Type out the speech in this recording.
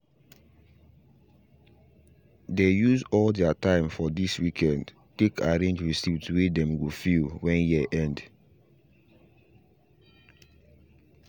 they use al their time for this weekend take arrange receipts way them go fill when year end